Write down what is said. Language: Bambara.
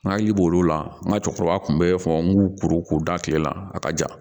N hakili b'o la n ka cɛkɔrɔba tun bɛ fɔ n k'u kuru k'u da tile la a ka ja